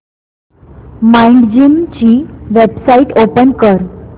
Mindgym ची website open कर